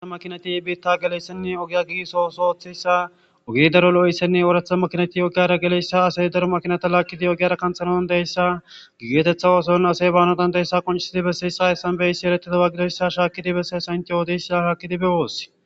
aa makinati biitta geleyssenne ogiya giiso oso oththeyssa ogi daro lo7essenne ooratha makinati ogiyara geleyssa asey daro makinata laakkidi ogiyara kanthanoan deyssa gigeetetha ooson asey baanodandeyssa qonchisidi be siyissa essanbeysi erettidowa gidoyssa shaakkidi besse sant oodeys a shaakidibe woossi